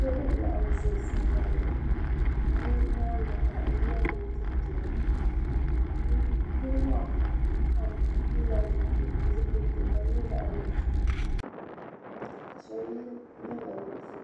Niriba n laɣim za san bani ka bɛ nyaaga ha yiya mini tihi beni niriba maapam pilila zipili ti ka di nyɛ zaɣi nuɣiso ka sheb ye liiga nuɣiso